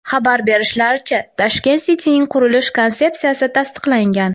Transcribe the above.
Xabar berishlaricha, Tashkent City’ning qurilish konsepsiyasi tasdiqlangan.